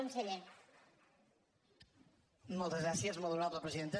moltes gràcies molt honorable presidenta